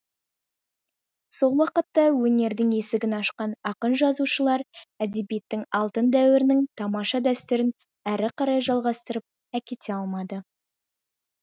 сол уақытта өнердің есігін ашқан ақын жазушылар әдебиеттің алтын дәуірінің тамаша дәстүрін әрі қарай жалғастырып әкете алмады